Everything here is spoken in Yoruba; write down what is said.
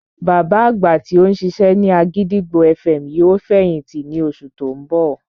Bàbá àgbà tí ó ń ṣiṣẹ́ ní àgìdìgbò FM yóò fẹ̀yìntì ní oṣù tí ó ń bọ̀